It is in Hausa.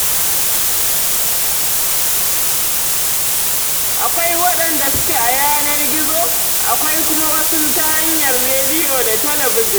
Akwai waɗanda suke a yanar gizo, akwai kuma wasu ta hanyar rediyo da talabijin.